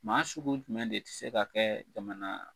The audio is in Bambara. Maa sugu jumɛn de tɛ se ka kɛ jamana